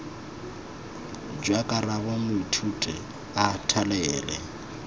jwa karabo moithuti a thalele